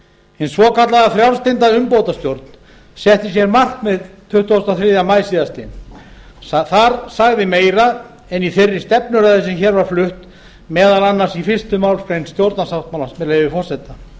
hin svokallaða frjálslynda umbótastjórn setti sér markmið tuttugasta og þriðja maí síðastliðinn þar sagði meira en í þeirri stefnuræðu sem hér var flutt meðal annars þetta í l málsgreinar stjórnarsáttmálans með leyfi forseta